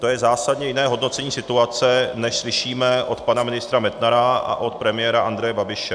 To je zásadně jiné hodnocení situace, než slyšíme od pana ministra Metnara a od premiéra Andreje Babiše.